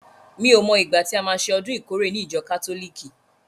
Mi o mo ìgbà tí a má ṣe ọdún ìkórè ní ìjọ kátólìkì?